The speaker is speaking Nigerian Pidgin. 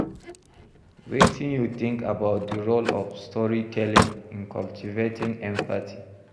Wetin you think about di role of storytelling in cultivating empathy?